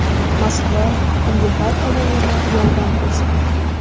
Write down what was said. Moskva unga har tomonlama yordam ko‘rsatdi.